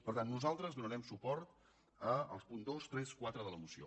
per tant nosaltres donarem suport als punts dos tres i quatre de la moció